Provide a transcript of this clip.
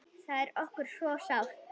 Það er okkur svo sárt.